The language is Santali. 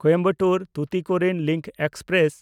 Coimbatore-Tuticorin link express